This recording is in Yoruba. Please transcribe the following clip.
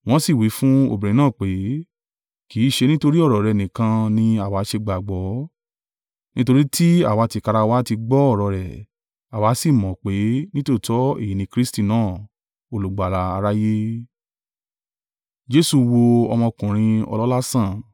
Wọ́n sì wí fún obìnrin náà pé, “Kì í ṣe nítorí ọ̀rọ̀ rẹ nìkan ni àwa ṣe gbàgbọ́, nítorí tí àwa tìkára wa ti gbọ́ ọ̀rọ̀ rẹ̀, àwa sì mọ̀ pé, nítòótọ́ èyí ni Kristi náà, Olùgbàlà aráyé.”